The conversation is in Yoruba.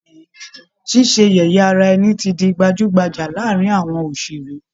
Ṣíṣe yẹ̀yẹ́ ara ẹni ti di gbajú-gbajà láàárín àwọn òṣèré